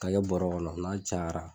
K'a kɛ bɔrɔ kɔnɔ n'a cayara